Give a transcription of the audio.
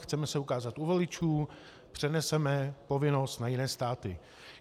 Chceme se ukázat u voličů, přeneseme povinnost na jiné státy.